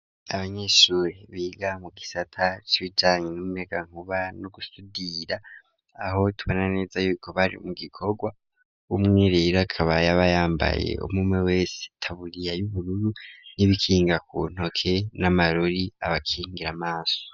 Abanyeshuri biga mu gisata c'bijanye n'umuyagankuba, no gusudira aho tubona neza yuko bari mu gikorwa ,w'umwirero akabaya ba yambaye umwumwe wese taburiya y'ubururu ,n'ibikinga ku ntoke, n'amarori abakingira amaso.